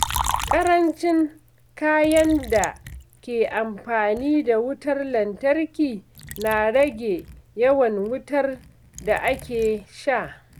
Ƙarancin kayan da ke amfani da wutar lantarki na rage yawan wutar da ake sha.